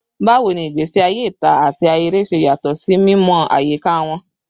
Bawo ni igbesi aye ita ati ahere ṣe yatọ ni mimọ ayika wọn?